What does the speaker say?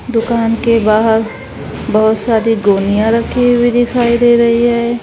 दुकान के बाहर बहोत सारी गोनिया रखी हुई दिखाई दे रही है।